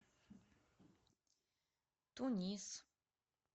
тунис